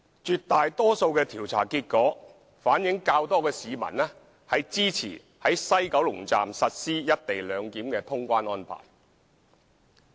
絕大多數調查結果反映較多市民支持於西九龍站實施"一地兩檢"的通關安排。